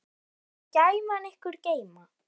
Megi gæfan ykkur geyma.